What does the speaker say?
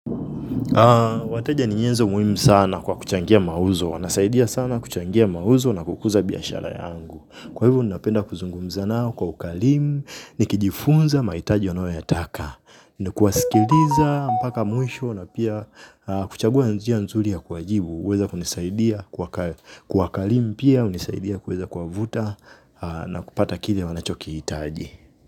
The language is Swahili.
Wateja ni nyenzo muimu sana kwa kuchangia mauzo. Wanasaidia sana kuchangia mauzo na kukuza biashara yangu. Kwa hivo ninapenda kuzungumza nao kwa ukalimu. Nikijifunza maitaji wanao yataka. Ni kuwasikiliza, mpaka mwisho na pia kuchagua njia nzuli ya kuwa jibu. Uweza kunisaidia kwa ukalimu pia. Unisaidia kuweza kuwavuta na kupata kile wanachokiitaji.